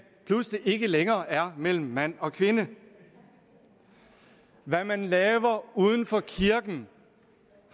pludselig ikke længere er mellem mand og kvinde hvad man laver uden for kirken